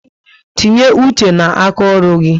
Tinye uche na aka ọrụ gị